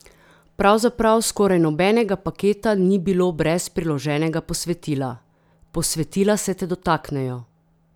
Pravzaprav skoraj nobenega paketa ni bilo brez priloženega posvetila: "Posvetila se te dotaknejo.